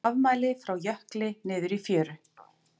Afmæli frá jökli niður í fjöru